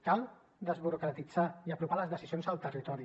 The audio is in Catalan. cal desburocratitzar i apropar les decisions al territori